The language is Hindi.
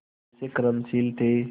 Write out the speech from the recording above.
कैसे कर्मशील थे